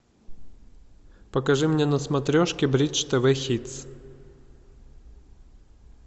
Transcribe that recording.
покажи мне на смотрешке бридж тв хитс